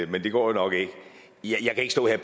men det går jo nok ikke jeg kan ikke stå her